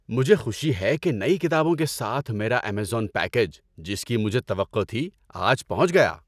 ‏مجھے خوشی ہے کہ نئی کتابوں کے ساتھ میرا ایمیزون پیکیج، جس کی مجھے توقع تھی، آج پہنچ گیا۔